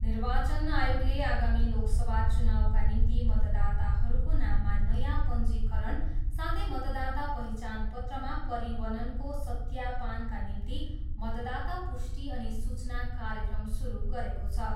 निर्वाचन आयोगले आगामी लोकसभा चुनावका निम्ति मतदाताहरूको नाममा नयाँ पञ्जीकरण साथै मतदाता पहिचान पत्रमा परिवननको सत्यापानका निम्ति मतदाता पुष्टि अनि सूचना कार्यक्रम सुरु गरेको छ।